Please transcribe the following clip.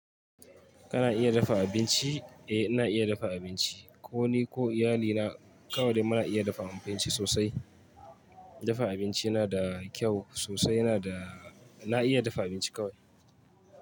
Kana iya dafa abinci? Eh, na iya dafa abinci. Ko ni ko iyalina kawai da muna iya dafa abinci sosai. Dafa abinci yana da kyau sosai. Yana da na iya dafa abinci kawai.